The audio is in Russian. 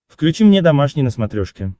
включи мне домашний на смотрешке